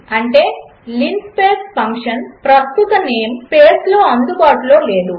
అంటే linspace function ప్రస్తుత name స్పేస్లో అందుబాటులో లేదు